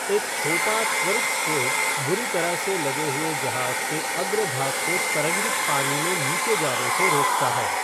एक छोटा, त्वरित स्ट्रोक बुरी तरह से लदे हुए जहाज़ के अग्रभाग को तरंगित पानी में नीचे जाने से रोकता है।